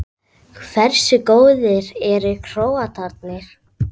Hversu góðir eru Króatarnir?